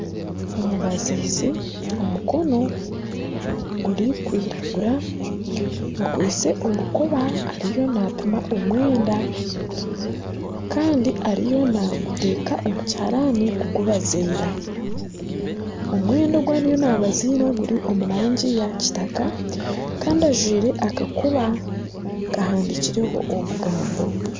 Omubazizi omukono gurikwiragira akwaitse orukoba ariyo napima omwenda kandi ariyo naaguta omu kiharani kugubaziira omwenda ogu ariyo nabaziira guri omurangi eya kitaka kandi ajwaire akakoba kahandiikirweho obugambo